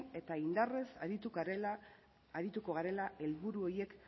eta indarrez arituko garela helburu horiek